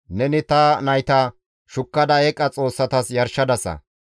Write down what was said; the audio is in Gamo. Neni ta nayta shukkada eeqa xoossatas yarshadasa.